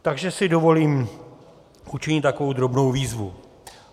Takže si dovolím učinit takovou drobnou výzvu.